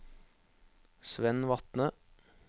Svend Vatne